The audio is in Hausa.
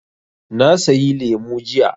Na sayi lemu jiya.